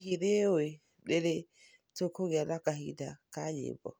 Hihi nĩ ũĩ nĩ rĩ tũkũgĩa na kĩhĩnda kĩa nyĩmbo?